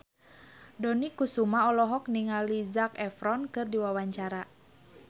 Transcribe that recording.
Dony Kesuma olohok ningali Zac Efron keur diwawancara